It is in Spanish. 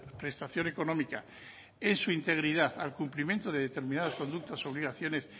prestación económica en su integridad al cumplimiento de determinadas conductas y obligaciones